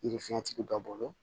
Yiri fiɲɛtigi dɔ bolo